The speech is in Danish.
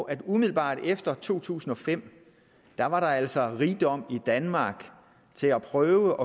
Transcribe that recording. at der umiddelbart efter to tusind og fem altså var rigdom i danmark til at prøve